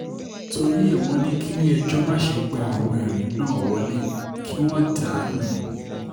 torí ẹ̀ wọ́n ní kílẹ̀-ẹjọ́ má ṣe gba àwọn ẹ̀rí náà wọ́lẹ̀ kí wọ́n dà á nù ni